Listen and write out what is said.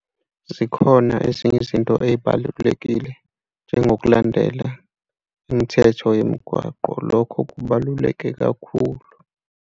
Zikhona ezinye izinto ey'balulekile njengokulandela imithetho yemigwaqo. Lokho kubaluleke kakhulu.